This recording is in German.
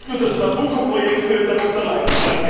Und nicht nur das Nabucco Projekt würde darunter leiden.